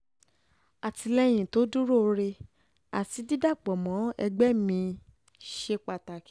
àtìlẹ́yìn tó dúróore àti àti dídàpọ̀ mọ́ ẹgbẹ́ mi-ín ṣe pàtàkì